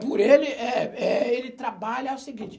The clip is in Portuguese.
Por ele, eh eh, ele trabalha, é o seguinte.